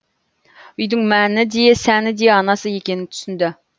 үйдің мәні де сәні де анасы екенін түсінді